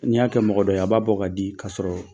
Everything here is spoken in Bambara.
Ni y'a kɛ mɔgɔdɔ ye a b'a bɔ ka di kasɔrɔ